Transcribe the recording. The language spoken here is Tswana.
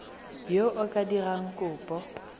yo o ka dirang kopo